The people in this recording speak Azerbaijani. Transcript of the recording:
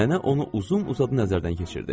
Nənə onu uzun-uzadı nəzərdən keçirdi.